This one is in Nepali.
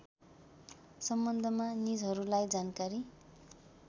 सम्बन्धमा निजहरूलाई जानकारी